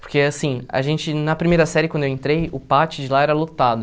Porque, assim, a gente, na primeira série, quando eu entrei, o pátio de lá era lotado.